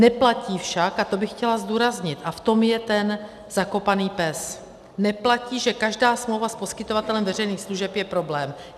Neplatí však, a to bych chtěla zdůraznit a v tom je ten zakopaný pes, neplatí, že každá smlouva s poskytovatelem veřejných služeb je problém.